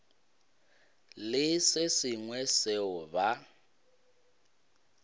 le se sengwe seo ba